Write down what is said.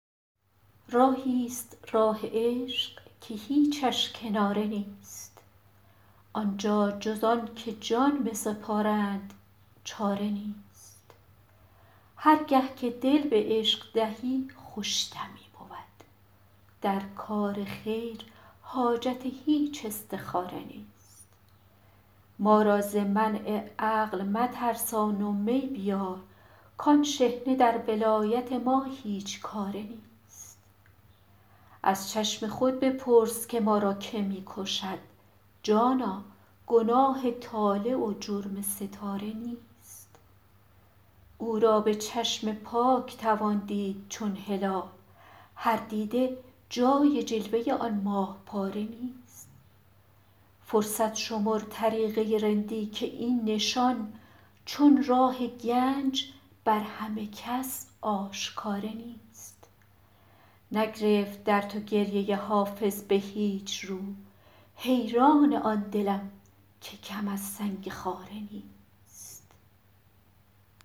راهی ست راه عشق که هیچش کناره نیست آن جا جز آن که جان بسپارند چاره نیست هر گه که دل به عشق دهی خوش دمی بود در کار خیر حاجت هیچ استخاره نیست ما را ز منع عقل مترسان و می بیار کآن شحنه در ولایت ما هیچ کاره نیست از چشم خود بپرس که ما را که می کشد جانا گناه طالع و جرم ستاره نیست او را به چشم پاک توان دید چون هلال هر دیده جای جلوه آن ماه پاره نیست فرصت شمر طریقه رندی که این نشان چون راه گنج بر همه کس آشکاره نیست نگرفت در تو گریه حافظ به هیچ رو حیران آن دلم که کم از سنگ خاره نیست